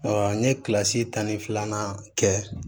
n ye kilasi tan ni filanan kɛ